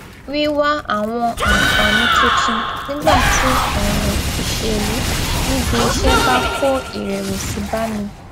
wíwá àwọn àǹfààní tuntun nígbà tí òràn ìṣèlú níbi iṣé bá kó ìrèwèsì bá mi